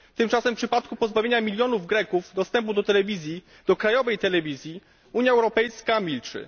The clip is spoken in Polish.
Tymczasem w przypadku pozbawienia milionów Greków dostępu do krajowej telewizji Unia Europejska milczy.